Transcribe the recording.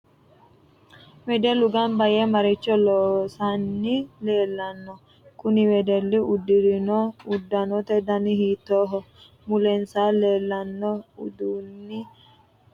Wedellu ganbba yee maricho loosani leelanno kuni wedelli udirinno uddanote dani hiitoho mulensa leelanno uduuni aano horo maati insa afamanno hijaari hiitoho